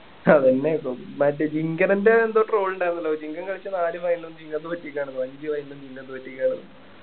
അതന്നെ പറ്റും മറ്റേ ജിങ്കരന്റെ എന്തോ troll ഉണ്ടാരുന്നല്ലോ ജിങ്കൻ കളിച്ചതാരുമായാലും ജിങ്കൻ തോറ്റിക്കാണ് ഭായ് ജിങ്കൻ തോറ്റിക്കാണ്